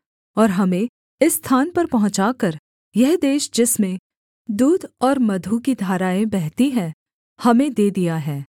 और हमें इस स्थान पर पहुँचाकर यह देश जिसमें दूध और मधु की धाराएँ बहती हैं हमें दे दिया है